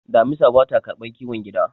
damisa ba ta karbar kiwon gida